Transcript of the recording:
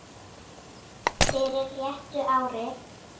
fyrir réttu ári.